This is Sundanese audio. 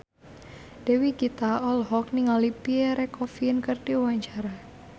Dewi Gita olohok ningali Pierre Coffin keur diwawancara